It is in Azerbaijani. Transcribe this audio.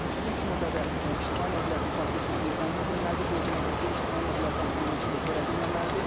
İlk növbədə ictimai nəqliyyatın fasiləsizliyi təmin edilməlidir, bu o deməkdir ki, ictimai nəqliyyata maneçilik törədilməməlidir.